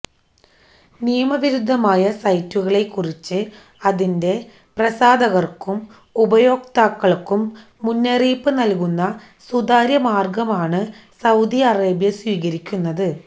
നിയമവിരുദ്ധമായ സൈറ്റുകളെ കുറിച്ച് അതിന്റെ പ്രസാധകര്ക്കും ഉപയോക്താക്കള്ക്കും മുന്നറിയിപ്പ് നല്കുന്ന സുതാര്യ മാര്ഗമാണ് സൌദി അറേബ്യ സ്വീകരിക്കുന്നത്